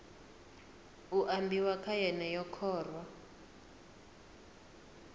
khou ambiwa kha yeneyi khoro